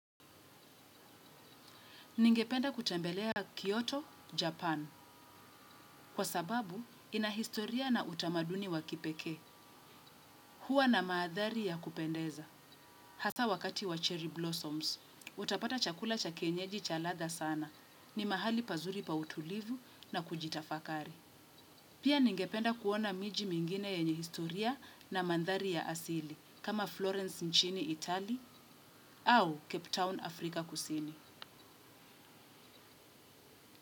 Ningependa kutembelea Kyoto, Japan, kwa sababu ina historia na utamaduni wa kipekee, huwa na mandhari ya kupendeza. Hasa wakati wa cherry blossoms, utapata chakula cha kienyeji cha ladha sana, ni mahali pazuri pa utulivu na kujitafakari. Pia ningependa kuona miji mingine yenye historia na mandhari ya asili, kama Florence nchini, Itali, au Cape Town, Afrika, Kusini.